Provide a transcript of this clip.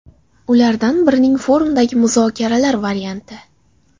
Ulardan biri forumdagi muzokaralar varianti.